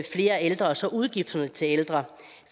flere ældre og så udgifterne til ældre